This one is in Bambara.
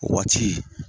Waati